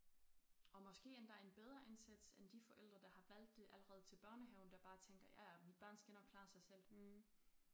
Og måske endda en bedre indsats end de forældre der har valgt det allerede til børnehaven der bare tænker ja ja mit barn skal nok klare sig selv